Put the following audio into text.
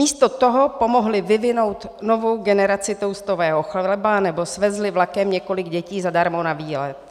Místo toho pomohly vyvinout novou generaci toastového chleba nebo svezli vlakem několik dětí zadarmo na výlet.